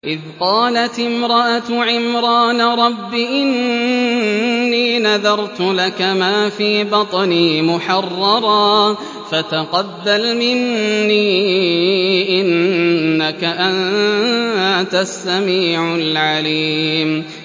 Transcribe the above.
إِذْ قَالَتِ امْرَأَتُ عِمْرَانَ رَبِّ إِنِّي نَذَرْتُ لَكَ مَا فِي بَطْنِي مُحَرَّرًا فَتَقَبَّلْ مِنِّي ۖ إِنَّكَ أَنتَ السَّمِيعُ الْعَلِيمُ